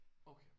Okay